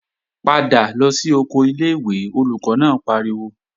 Padà lọ sí oko ilé-ìwé, Olùkọ́ náà pariwo!